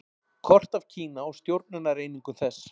Kort af Kína og stjórnunareiningum þess.